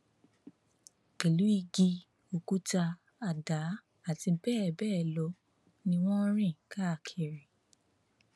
pẹlú igi òkúta àdá àti bẹẹ bẹẹ lọ ni wọn ń rìn káàkiri